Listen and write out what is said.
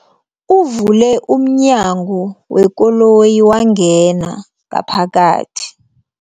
Uvule umnyango wekoloyi wangena ngaphakathi.